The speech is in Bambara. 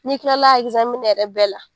N'i kilala a yɛrɛ bɛɛ la.